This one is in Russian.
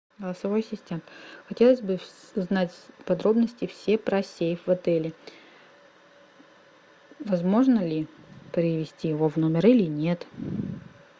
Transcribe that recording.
голосовой ассистент хотелось бы узнать подробности все про сейф в отеле возможно ли привезти его в номер или нет